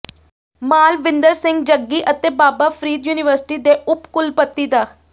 ਮਾਲਵਿੰਦਰ ਸਿੰਘ ਜੱਗੀ ਅਤੇ ਬਾਬਾ ਫਰੀਦ ਯੂਨੀਵਰਸਿਟੀ ਦੇ ਉੱਪ ਕੁੱਲਪਤੀ ਡਾ